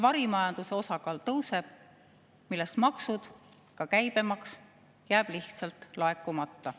Varimajanduse osakaal tõuseb, aga maksud, ka käibemaks, jäävad lihtsalt laekumata.